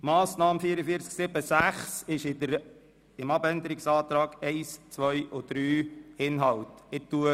Die Massnahme 44.7.6 ist Inhalt der Abänderungsanträge 1 und 2 sowie der Planungserklärung 3.